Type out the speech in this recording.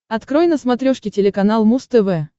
открой на смотрешке телеканал муз тв